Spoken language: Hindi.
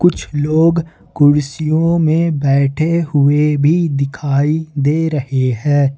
कुछ लोग कुर्सियों में बैठे हुए भी दिखाई दे रहे हैं।